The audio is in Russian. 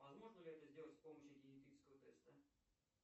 возможно ли это сделать с помощью генетического теста